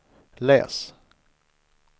läs